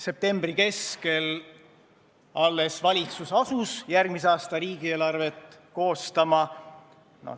Septembri keskel valitsus alles asus järgmise aasta riigieelarvet koostama.